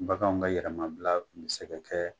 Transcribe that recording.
Baganw ka yɛlɛmabila mi se ka kɛ